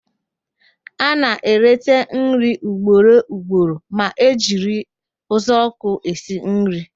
A na-eleta nri ugboro ugboro ma e jiri uzuọkụ esi nri